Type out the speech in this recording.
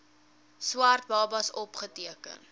swart babas opgeteken